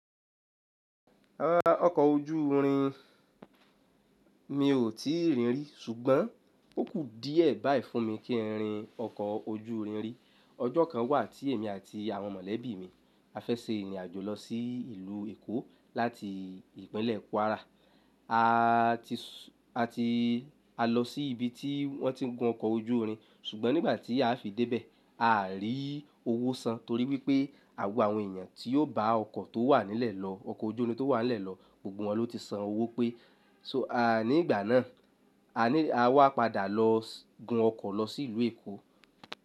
Rárá ọkọ̀ ojú irin, mi ò tíì rí rí ṣùgbọ́n ó kù díẹ̀ báyìí fún mi kí n rí ọkọ̀ ojú irin rí. Ọjọ́ kan wà tí èmi àti àwọn mọ̀lẹ́bí mi a fẹ́ se ìrìn àjò lọ sí ìlú Èkó láti ìpínlẹ̀ Kwara. A ti, a ti, a lọ sí ibi tí wọ́n ti ń gun ọkọ̀ ojú irin ṣùgbọ́n nígbà tí a fi dé bẹ̀, a rí owó san torí wípé àwọn àwọn èèyàn tí ó bá ọkọ̀ tó wà nílẹ̀ lọ, ọkọ̀ ojú irin tó wà nílẹ̀ lọ, gbogbo wọn ló ti san owó pé. So a nígbà náà, a ní a wá padà lọ gun ọkọ̀ lọ sí ìlú Èkó.